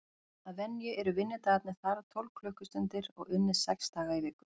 Að venju eru vinnudagarnir þar tólf klukkustundir og unnið sex daga í viku.